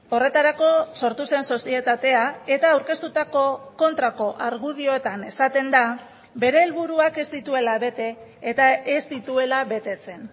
horretarako sortu zen sozietatea eta aurkeztutako kontrako argudioetan esaten da bere helburuak ez dituela bete eta ez dituela betetzen